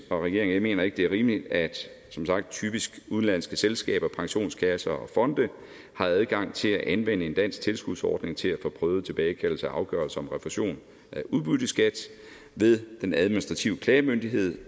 regeringen ikke det er rimeligt at som sagt typisk udenlandske selskaber pensionskasser og fonde har adgang til at anvende en dansk tilskudsordning til at få prøvet tilbagekaldelser af afgørelser om refusion af udbytteskat ved den administrative klagemyndighed